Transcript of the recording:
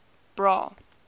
bra